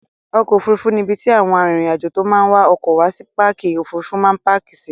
Ọkọ̀ Òfurufú ni ibi tí àwọn arìnrìn-àjò tó máa ń wa ọkọ̀ wá sí pápá Òfurufú máa ń páàkì sí.